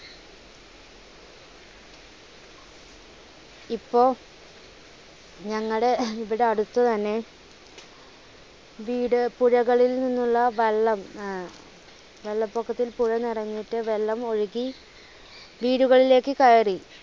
ഇപ്പോ ഞങ്ങടെ ഇവിടെ അടുത്തുതന്നെ വീട് പുഴകളിൽ നിന്നുള്ള വെള്ളം വെള്ളപ്പൊക്കത്തിൽ പുഴ നിറഞ്ഞിട്ട് വെള്ളം ഒഴുകി വീടുകളിലേക്ക് കയറി.